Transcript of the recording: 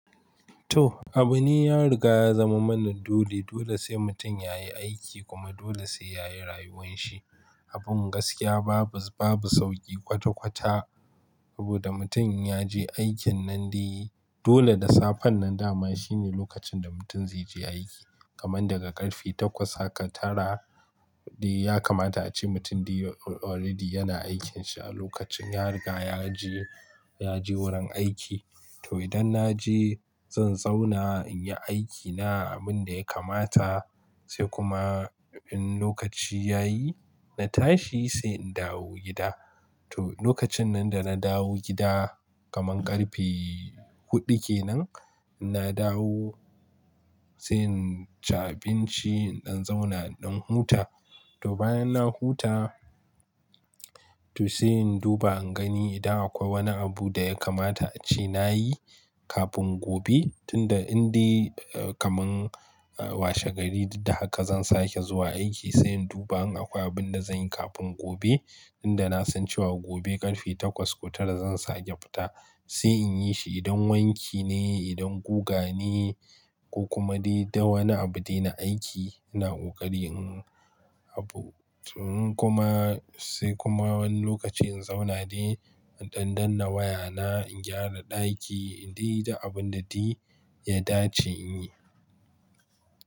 To, abune ya riga ya zama mana dole. Dole sai mutum yayi aiki kuma dole sai yayi rayuwan shi. Abin gaskiya babu, babu sauƙi kwata-kwata abuda mutum ya je aikin nan di. Dole da safan nan dama shine lokacin da mutum zai je aiki. Kaman daga ƙarfe takwas haka tara di ya kamata ace mutum di already yana aikinsa. Lokacin ya riga ya je, ya je wurin aiki. To idan na je zan zauna in yi aikina abin da ya kamata sai kuma in lokaci ya yi na tashi sai in dawo gida. To lokacin nan da na dawo gida kaman ƙarfe huɗu ke nan, na dawo sai in ci abinci, in ɗan zauna in huta. To bayan na huta to sai in duba in gani idan akwai wani abu da ya kamata ace na yi kafin gobe. Tunda in di kaman washe gari da haka zan sake zuwa aiki sai in duba in akwai abun da zan yi kafin gobe. Inda na san cewa gobe ƙarfe takwas ko tara zan sake fita. Sai in yi shi idan wanki ne, idan guga ne ko kuma di da wani abu dai na aiki ina ƙoƙari in abu. In kuma sai kuma wani lokaci in zauna dai in ɗan danna waya na, in gyara ɗaki, in di da abun da di ya dace in yi.